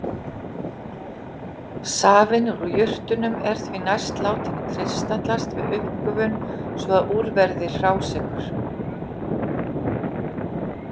Safinn úr jurtunum er því næst látinn kristallast við uppgufun svo að úr verði hrásykur.